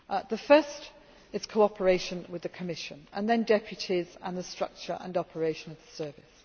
The first is cooperation with the Commission, then deputies, and the structure and operation of the service.